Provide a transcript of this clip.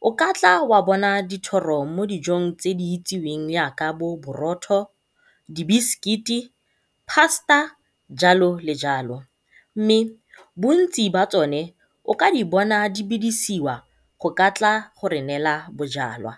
O ka tla wa bona dithoro mo dijong tse di itseweng jaaka bo borotho, di bisikiti, pasta jalo le jalo mme bontsi jwa tsone o ka di bona di bidisiwa go ka tla re neela bojalwa.